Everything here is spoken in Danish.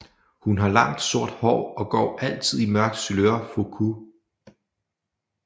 Hun har langt sort hår og går altid i mørkt sailor fuku